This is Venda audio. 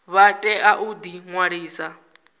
vha tea u ḓi ṅwalisa